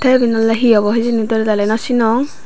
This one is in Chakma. tey eben he obo hejani doley daley no sinong.